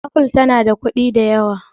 apple tana da kuɗi da yawa